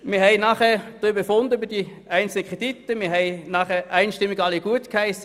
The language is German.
Wir haben danach über die einzelnen Kredite befunden und alleeinstimmig gutgeheissen.